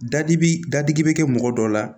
Da dibi dadib be kɛ mɔgɔ dɔ la